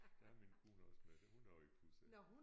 Der er min kone også med det hun har også pusser